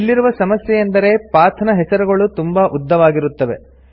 ಇಲ್ಲಿರುವ ಸಮಸ್ಯೆ ಎಂದರೆ ಪಾತ್ ನ ಹೆಸರುಗಳು ತುಂಬಾ ಉದ್ದವಾಗಿರುತ್ತವೆ